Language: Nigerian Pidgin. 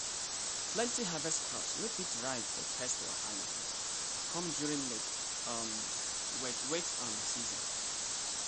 plenty harvest crops wey fit ripe bfor pest wahala um come during late um wet wet um season.